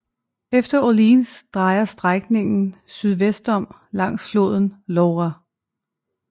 Efter Orléans drejer strækningen sydvestom langs floden Loire